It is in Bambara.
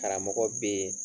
Karamɔgɔ bɛ yen